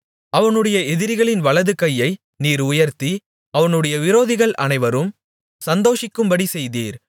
அவனுடைய எதிரிகளின் வலது கையை நீர் உயர்த்தி அவனுடைய விரோதிகள் அனைவரும் சந்தோஷிக்கும்படி செய்தீர்